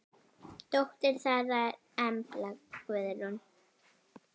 Dóttir þeirra er Embla Guðrún.